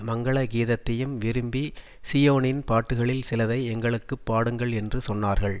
மங்கள கீதத்தையும் விரும்பி சீயோனின் பாட்டுகளில் சிலதை எங்களுக்கு பாடுங்கள் என்று சொன்னார்கள்